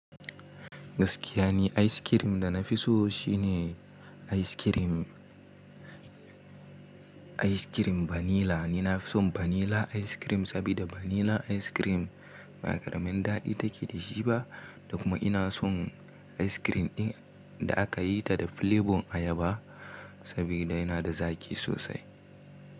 Gaskiya ne, ayis kirim da na fi so shine ayis kirim, ayis kirim vanilla. Ni na fi son vanilla ayis kirim, sabida vanilla ayis kirim ba karamin daɗi take da shi ba, da kuma ina son ayis kirim ɗin da aka yi ta da flevon ayaba, sabida yana da zaki sosai.